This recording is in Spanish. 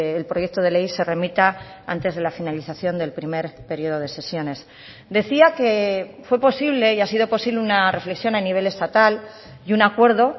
el proyecto de ley se remita antes de la finalización del primer periodo de sesiones decía que fue posible y ha sido posible una reflexión a nivel estatal y un acuerdo